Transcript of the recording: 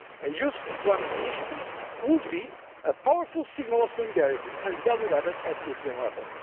A youth employment initiative would be a powerful signal of solidarity and of value added at European